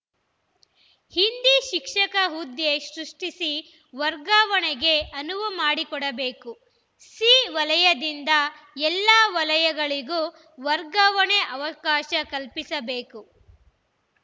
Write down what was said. ಹಿಂದಿ ಶಿಕ್ಷಕ ಹುದ್ದೆ ಸೃಷ್ಟಿಸಿ ವರ್ಗಾವಣೆಗೆ ಅನುವು ಮಾಡಿಕೊಡಬೇಕು ಸಿ ವಲಯದಿಂದ ಎಲ್ಲ ವಲಯಗಳಿಗೂ ವರ್ಗಾವಣೆ ಅವಕಾಶ ಕಲ್ಪಿಸಬೇಕು